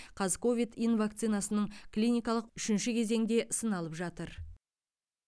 қазковид ин вакцинасының клиникалық үшінші кезеңде сыналып жатыр